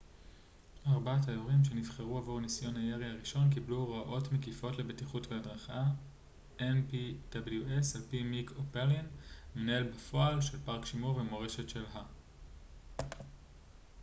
על פי מיק או'פלין המנהל בפועל של פארק שימור ומורשת של ה-npws ארבעת היורים שנבחרו עבור ניסיון הירי הראשון קיבלו הוראות מקיפות לבטיחות והדרכה